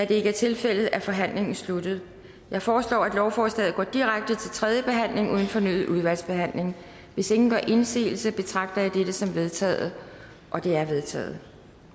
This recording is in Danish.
det ikke er tilfældet er forhandlingen sluttet jeg foreslår at lovforslaget går direkte til tredje behandling uden fornyet udvalgsbehandling hvis ingen gør indsigelse betragter jeg dette som vedtaget det er vedtaget